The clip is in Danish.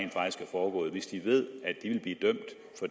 foregået hvis de ved